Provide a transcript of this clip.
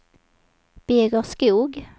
Birger Skoog